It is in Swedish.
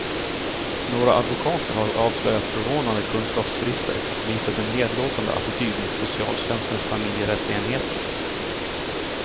Några advokater har avslöjat förvånande kunskapsbrister och visat en nedlåtande attityd mot socialtjänstens familjerättsenheter.